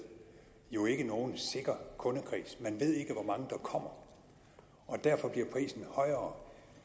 jo ikke nogen sikker kundekreds man ved ikke hvor mange der kommer derfor bliver prisen højere